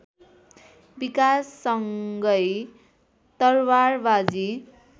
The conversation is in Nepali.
विकाससँगै तरवारबाजी